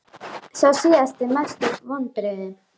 Sá síðasti Mestu vonbrigði?